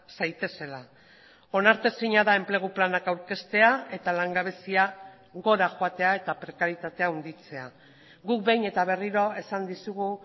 zaitezela onartezina da enplegu planak aurkeztea eta langabezia gora joatea eta prekarietatea handitzea guk behin eta berriro esan dizugu